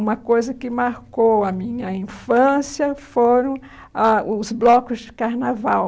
Uma coisa que marcou a minha infância foram a os blocos de carnaval.